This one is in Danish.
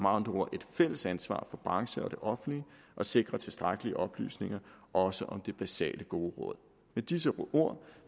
andre ord et fælles ansvar for branchen og det offentlige at sikre tilstrækkelig oplysning også om de basale gode råd med disse ord